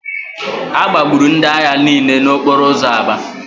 A gbagburu ndị agha niile n'okporo ụzọ Aba